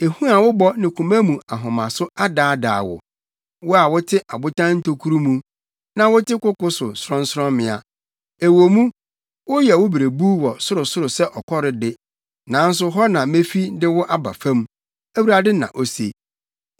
Ehu a wobɔ ne koma mu ahomaso adaadaa wo, wo a wote abotan ntokuru mu, na wote koko no sorɔnsorɔmmea. Ɛwɔ mu, woyɛ wo berebuw wɔ sorosoro sɛ ɔkɔre de, nanso hɔ na mefi de wo aba fam,” Awurade na ose.